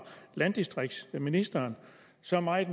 landdistriktsministeren så meget